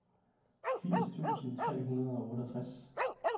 firs tusind tre hundrede og otteogtres